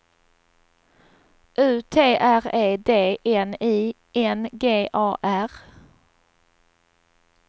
U T R E D N I N G A R